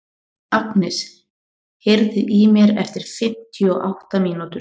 Agnes, heyrðu í mér eftir fimmtíu og átta mínútur.